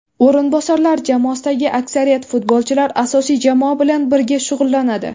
O‘rinbosarlar jamoasidagi aksariyat futbolchilar asosiy jamoa bilan birga shug‘ullanadi.